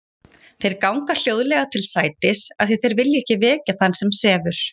Þeir ganga hljóðlega til sætis af því þeir vilja ekki vekja þann sem sefur.